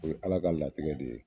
O ye Ala ka latigɛ de ye.